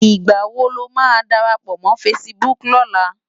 Nigbá wó ló má dárápò mò fãsibúk lòlá?